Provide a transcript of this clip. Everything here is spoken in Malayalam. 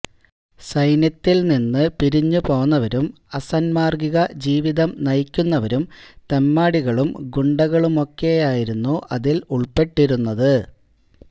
സൈന്യത്തില്നിന്ന് പിരിഞ്ഞുപോന്നവരും അസാന്മാര്ഗിക ജീവിതം നയിക്കുന്നവരും തെമ്മാടികളും ഗുണ്ടകളുമൊക്കെയായിരുന്നു അതില് ഉള്പ്പെട്ടിരുന്നത്